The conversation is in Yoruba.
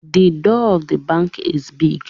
The door of the bank is big